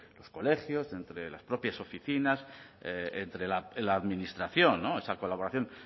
colegios entre las propias oficinas entre la administración esa colaboración